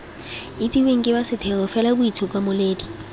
itsiweng ke ba setheo felaboitshimololedi